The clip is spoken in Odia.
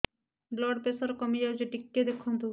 ବ୍ଲଡ଼ ପ୍ରେସର କମି ଯାଉଛି କି ଟିକେ ଦେଖନ୍ତୁ